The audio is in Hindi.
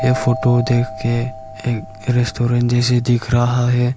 ये फोटो देख के एक रेस्टोरेंट जैसे दिख रहा है।